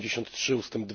83 ust.